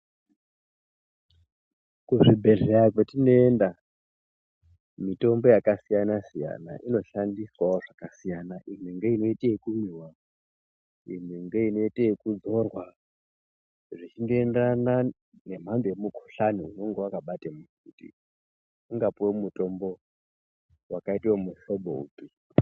Kuzvibhedhleya kwetinoenda mitombo yakasiyana-siyana inoshandiswawo zvakasiyana. Imwe ngeinoite ekumwiwa, imwe ngeinoita ekuzorwa, zvechingoenderana nemhando yemukhuhlani unonga wakabate muntu kuti ungapuwe mutombo wakaite wemuhlobo upi.